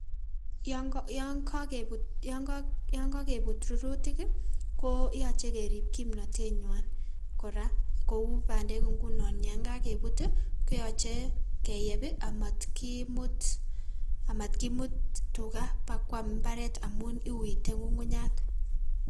Yoon kokebut rurutik koyoche kerib kimnotenywan kora kouu bandek ing'unon yaan kokebut ii koyoche keyeb amatkimut tukaa bakwaam mbaret amuun iuitee ng'ung'unyat.